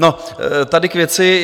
No, tady k věci.